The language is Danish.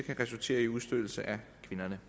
at det